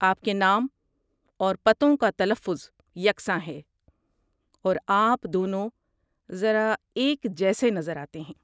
آپ کے نام اور پتوں کا تلفظ یکساں ہے، اور آپ دونوں ذرا ایک جیسے نظر آتے ہیں۔